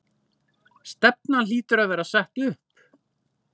Stefnan hlýtur að vera sett upp?